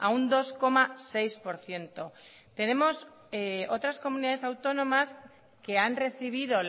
un dos coma seis por ciento tenemos otras comunidades autónomas que han recibido